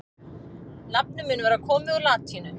nafnið mun vera komið úr latínu